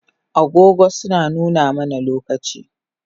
Agogo suna nuna mana lokaci